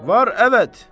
Var əvət.